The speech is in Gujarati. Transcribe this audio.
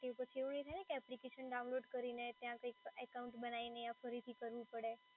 કે પછી એવું નઈ થાય ને કે એપ્લિકેશન ડાઉનલોડ કરીને ત્યાં કંઈક એકાઉન્ટ બનાઈ ને યા ફરીથી કરવું પડે